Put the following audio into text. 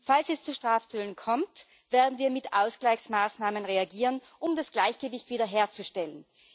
Falls es zu Strafzöllen kommt, werden wir mit Ausgleichsmaßnahmen reagieren, um das Gleichgewicht wieder herzustellen.